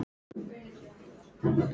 Og hvað viltu með það?